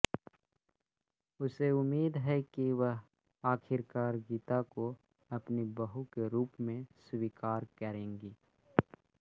उसे उम्मीद है कि वह आखिरकार गीता को अपनी बहू के रूप में स्वीकार करेंगी